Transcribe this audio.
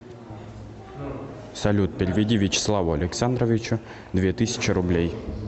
салют переведи вячеславу александровичу две тысячи рублей